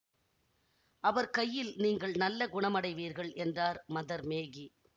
அவர் கையில் நீங்கள் நல்ல குணமடைவீர்கள் என்றார் மதர் மேகி